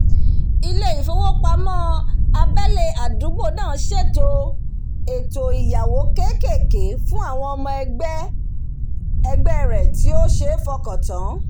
ilé ìfowópamó abélé àdúgbò ná sèto èto ìyáwó kékèké fún àwon ọmọ egbé rẹ̀ tí ó sé fokàn tán